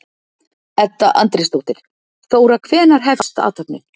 Edda Andrésdóttir: Þóra, hvenær hefst athöfnin?